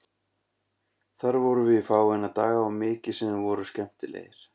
Þar vorum við í fáeina daga og mikið sem þeir voru skemmtilegir.